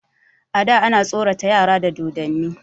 A da ana tsorata yara da dodonni.